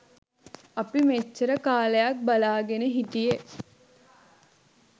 අපි මෙච්චර කාලයක් බලා ගෙන හිටියේ.